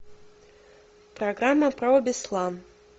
программа про беслан